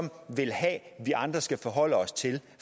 vil have vi andre skal forholde os til